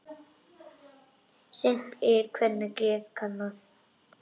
Seint er kvenna geð kannað.